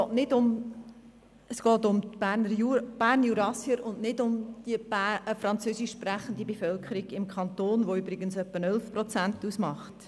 Es geht um die Bernjurassier und nicht um die französischsprechende Bevölkerung im Kanton, die übrigens rund 11 Prozent der Berner Bevölkerung ausmacht.